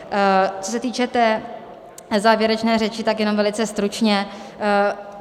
Co se týče té závěrečné řeči, tak jenom velice stručně.